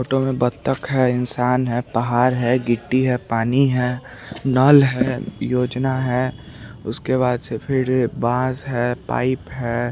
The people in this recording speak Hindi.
फोटो में बतख है इन्शान है पहाड़ है गिट्टी है पानी है नल है योजना है उसके बाद से फिर बाज है पाईप है।